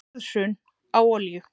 Verðhrun á olíu